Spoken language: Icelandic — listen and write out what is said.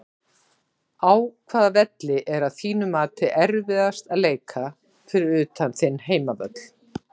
Á hvaða velli er að þínu mati erfiðast að leika fyrir utan þinn heimavöll?